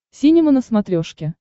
синема на смотрешке